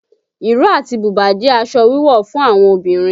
Ìró àti bùbá jẹ́ aṣọ wíwọ̀ fún àwọn obìnrin